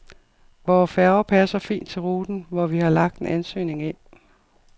Vore færger passer fint til ruten, hvor vi har lagt en ansøgning ind.